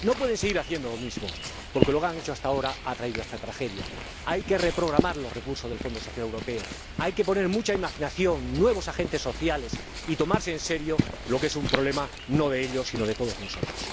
No pueden seguir haciendo lo mismo, porque lo que han hecho hasta ahora ha traído esta tragedia. Hay que reprogramar los recursos del Fondo Social Europeo, hay que poner mucha imaginación, nuevos agentes sociales y tomarse en serio lo que es un problema no de ellos sino de todos nosotros.